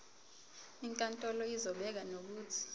inkantolo izobeka nokuthi